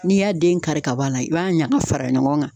N'i y'a den kari ka bɔ a la i b'a ɲaga fara ɲɔgɔn kan